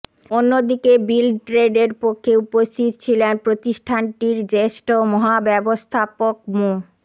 অন্যদিকে বিল্ডট্রেডের পক্ষে উপস্থিত ছিলেন প্রতিষ্ঠানটির জ্যেষ্ঠ মহাব্যবস্থাপক মো